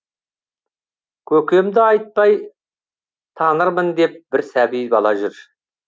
көкемді айтпай танырмын деп бір сәби бала жүр